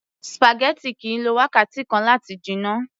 spaghetti kìí lo wákàtí kan láti jiná